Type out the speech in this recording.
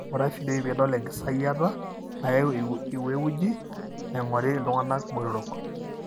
inguraa ifideoi pidol engisayiata nayau iweuji naingori iltunganaa botorok.